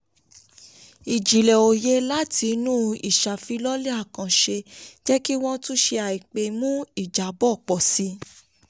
ìjìnlẹ̀ òye láti inú ìṣàfilọ́lẹ̀ àkànṣe jẹ́ kí wọ́n wọ́n túnṣe àìpé mú ìjábọ̀ pọ̀ sí i.